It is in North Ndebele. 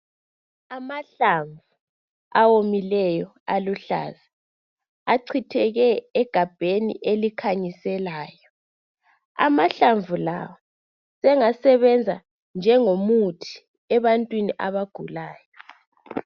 Amahlamvu awomileyo aluhlaza achitheke egabheni elikhanyiselayo amahlamvu la sengasebenza njengomuthi ebantwini abagulayo.